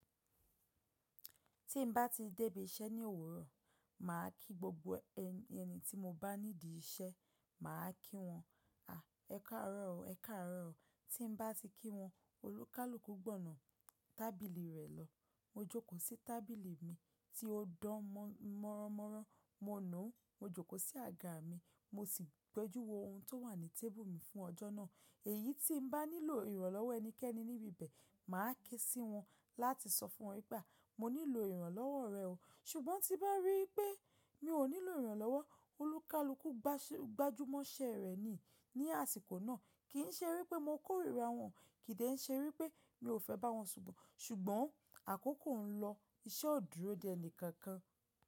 Tí n bá ti débí iṣẹ́ ní òwúrọ̀, mà á kí gbogbo ẹni tí mo bá nídìí iṣẹ́, mà á kí wọn, à, ẹ káàárọ̀ o, ẹ káàárọ̀ o. Tí n bá ti kí wọn, olúkálùkú gbọ̀nà tábìlì rẹ̀ lọ. Mo jókòó sí tábìlì mi tí ó dán mọ́rọ́mọ́rọ́, mo nùú, mo jókòó sí àga mi, mo sì gbẹjúwo ohun tó wà ní table mi fún ọjọ́ náà. Èyí tí n bá nílò ìrànlọ́wọ́ ẹnikẹ́ni níbi ibẹ̀, mà á ké sí wọn láti sọ fún wọn wipe aà, mo nílò ìrànlọ́wọ́ rẹ o. Ṣùgbọ́n tí bá rí pé mi ò nílò ìrànlọ́wọ́, olúkálùkú gbájúmọ́ iṣẹ́ rẹ̀ ní àsìkò náà. Kì í ṣe wípé mo kórìíra wọn, kì í dẹ̀ ṣe wípé mi ò fẹ́ bá wọn ṣùgbọ́n àkókò ń lọ, iṣẹ́ ò dúró de ẹni kankan.